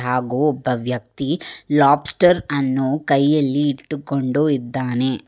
ಹಾಗು ಒಬ್ಬ ವ್ಯಕ್ತಿ ಲಾಬ್ಸ್ಟರ್ ಅನ್ನು ಕೈಯಲ್ಲಿ ಇಟ್ಟುಕೊಂಡು ಇದ್ದಾನೆ.